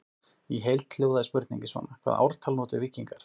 Í heild hljóðaði spurningin svona: Hvaða ártal notuðu víkingar?